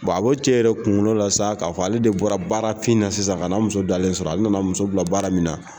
a ko cɛ yɛrɛ kunkolo la sa k'a fɔ ale de bɔra baarafin na sisan ka n'a muso dalen sɔrɔ ale nana muso bila baara min na